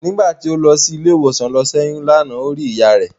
Nígbà tí ó lọ sí ilé ìwòsàn lọ ṣẹ́yún lánàá ó rí ìyá rẹ̀.